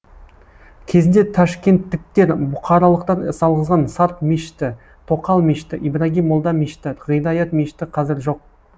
кезінде ташкенттіктер бұқаралықтар салғызған сарт мешіті тоқал мешіті ибрагим молда мешіті ғидаят мешіті қазір жоқ